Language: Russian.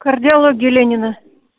кардиология ленина